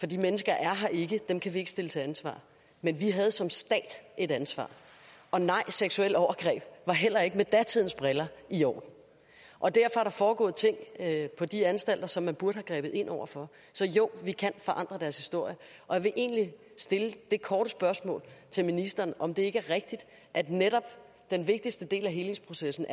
de mennesker er her ikke dem kan ikke stille til ansvar men vi havde som stat et ansvar og nej seksuelle overgreb var heller ikke med datidens briller i orden og derfor er der foregået ting på de anstalter som man burde have grebet ind over for så jo vi kan forandre deres historie og jeg vil egentlig stille det korte spørgsmål til ministeren om det ikke er rigtigt at den den vigtigste del af helingsprocessen